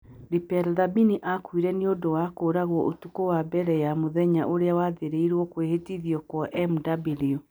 Lipelo Thabane aakuire nĩ ũndũ wa kũũragwo ũtukũ wa mbere ya mũthenya ũrĩa waathĩrĩirio kwĩhĩtithio kwa Mw.